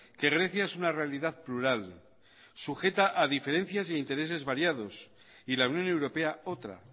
que grecia es una realidad plural sujeta a diferencias e intereses variados y la unión europea otra